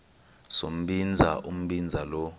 sombinza umbinza lo